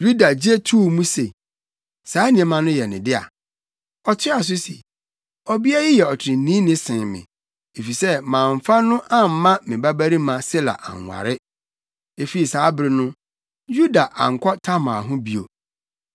Yuda gye too mu se, saa nneɛma no yɛ ne dea. Ɔtoaa so se, “Ɔbea yi yɛ ɔtreneeni sen me, efisɛ mamfa no amma me babarima Sela anware.” Efi saa bere no, Yuda ankɔ Tamar ho bio.